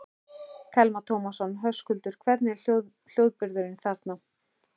Telma Tómasson: Höskuldur, hvernig er hljómburðurinn þarna?